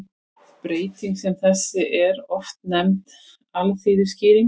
Breyting sem þessi er oft nefnd alþýðuskýring.